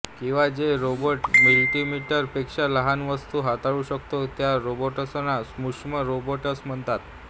किवा जे robot millimetre पेक्षा लहान वस्तू हाताळू शकतो त्या रोबोट्सना सुक्ष्म रोबोट्स म्हणतात